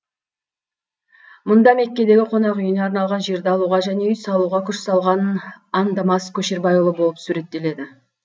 мұнда меккедегі қонақүйіне арналған жерді алуға және үй салуға күш салған андамас көшербайұлы болып суреттеледі